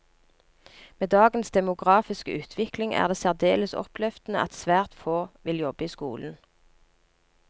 Med dagens demografiske utvikling er det særdeles oppløftende at svært få vil jobbe i skolen.